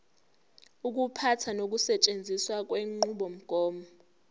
ukuphatha nokusetshenziswa kwenqubomgomo